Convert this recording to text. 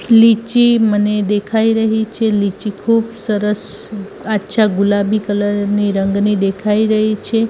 લીચી મને દેખાઈ રહી છે લીચી ખુબ સરસ આછા ગુલાબી કલર ની રંગની દેખાઈ રહી છે.